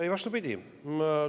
Ei, vastupidi!